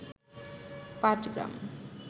Patgram